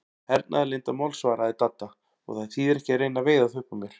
Hernaðarleyndarmál svaraði Dadda, og það þýðir ekki að reyna að veiða það upp úr mér